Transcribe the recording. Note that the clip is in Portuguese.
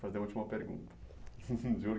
Fazer a última pergunta. Juro